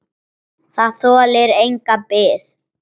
Það þolir enga bið.